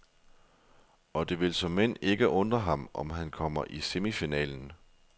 Og det vil såmænd ikke undre ham, om han kommer i semifinalen.